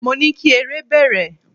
Mo ní kí eré bẹ̀rẹ̀!